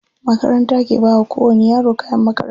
Makaranta ke bawa ko wani yaro kayan makaranta.